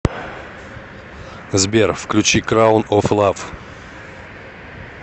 сбер включи краун оф лав